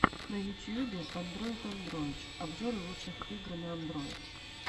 на ютьюбе андройд андройдыч обзоры лучших игр на андройд